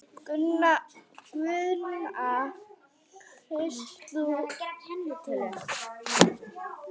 Gunnar: Kaust þú Guðna?